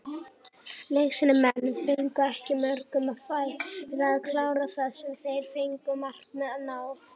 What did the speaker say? Leiknismenn fengu ekki mörg færi en kláruðu það sem þeir fengu, markmið náð?